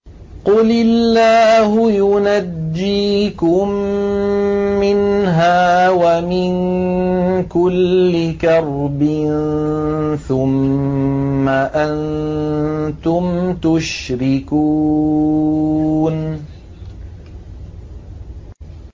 قُلِ اللَّهُ يُنَجِّيكُم مِّنْهَا وَمِن كُلِّ كَرْبٍ ثُمَّ أَنتُمْ تُشْرِكُونَ